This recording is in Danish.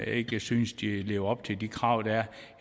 ikke synes de lever op til de krav der